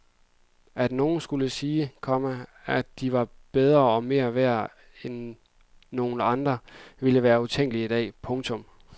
At nogen skulle sige, komma at de var bedre og mere værd end nogen andre ville være utænkeligt i dag. punktum